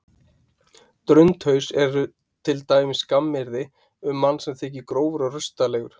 Drundhaus er til dæmis skammaryrði um mann sem þykir grófur og rustalegur.